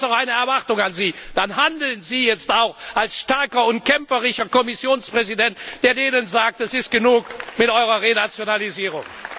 Aber ich habe jetzt auch eine Erwartung an Sie Handeln Sie jetzt auch als starker und kämpferischer Kommissionspräsident, der denen sagt Es ist genug mit eurer Renationalisierung!